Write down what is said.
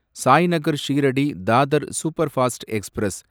Sainagar Shirdi Dadar superfast express